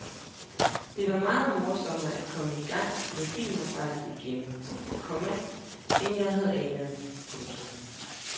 Det var meget morsommere at komme i gang med filmarbejdet igen, komma end jeg havde anet. punktum